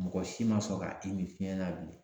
Mɔgɔ si ma sɔn ka i min fiɲɛ na bilen